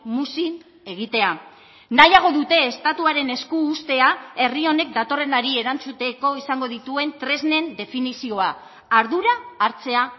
muzin egitea nahiago dute estatuaren esku uztea herri honek datorrenari erantzuteko izango dituen tresnen definizioa ardura hartzea